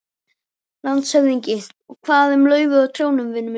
LANDSHÖFÐINGI: Og hvað um laufið á trjánum, vinur minn.